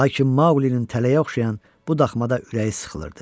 lakin Maqulinin tələyə oxşayan bu daxmada ürəyi sıxılırdı.